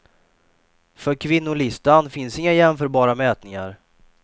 För kvinnolistan finns inga jämförbara mätningar.